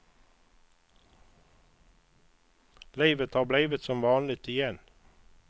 Livet har blivit som vanligt igen.